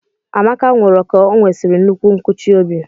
Amaka nwụrụ ka onwesiri nnukwu nkuchi óbị.